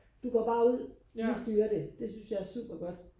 du går bare ud vi styrer det det synes jeg er super godt